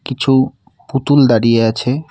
কিছু পুতুল দাঁড়িয়ে আছে।